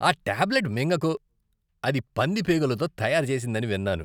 ఆ టాబ్లెట్ మింగకు. అది పంది పేగులతో తయారు చేసిందని విన్నాను.